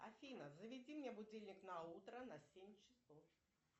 афина заведи мне будильник на утро на семь часов